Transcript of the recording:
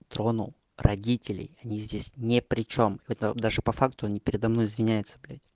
тронул родителей они здесь не причём это даже по факту не передо мной извинятсся блять